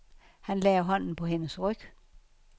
Han lagde hånden på hendes ryg.